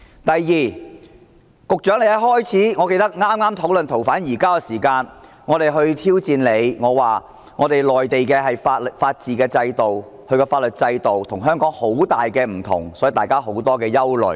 第二，我記得剛開始討論移交逃犯安排的時候，我們挑戰局長，表示內地的法治制度、法律制度跟香港很不相同，所以，大家有很大憂慮。